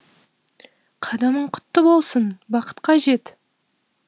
қадамың құтты болсын бақытқа жет